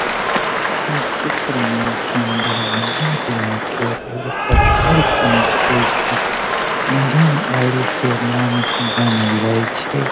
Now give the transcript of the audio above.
इ चित्र में बन्दर वादा चिल्ला के एगो पेट्रोल पंप छै जे इंडियन ऑयल के नाम से जानल जाय छै ।